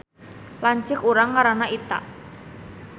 Lanceuk urang ngaranna Ita